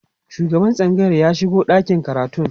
shugaban tsangayar ya shigo ɗakin karatun